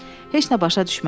Heç nə başa düşmədim.